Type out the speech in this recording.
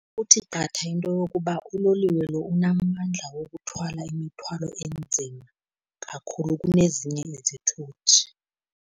Kuthi qatha into yokuba uloliwe lo unamandla wokuthwala imithwalo enzima kakhulu kunezinye izithuthi.